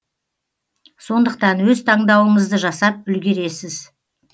сондықтан өз таңдауыңызды жасап үлгересіз